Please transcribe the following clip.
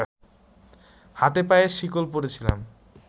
হাতেপায়ে শেকল পড়েছিলাম